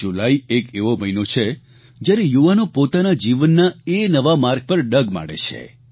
જુલાઇ એક એવો મહિનો છે જયારે યુવાનો પોતાના જીવનના એ નવા માર્ગ પર ડગ માંડે છે